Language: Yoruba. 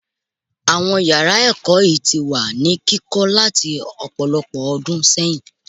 Àwọn yàrá ẹ̀kọ́ yìí ti wà ní kíkọ́ láti ọ̀pọ̀lọpọ̀ ọdún sẹ́yìn.